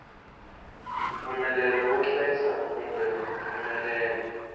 mpfumelelo wo hlayisa kumbe mpfumelelo